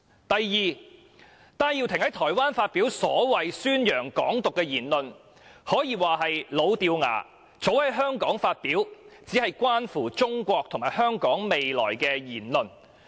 另一點是，戴耀廷教授在台灣發表所謂宣揚"港獨"的言論，可說是老掉牙，早已在香港發表，只是關乎中國和香港未來的言論。